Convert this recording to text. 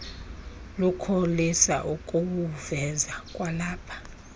lukholisa ukuwuveza kwalapha